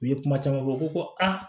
U ye kuma caman fɔ u ko ko aa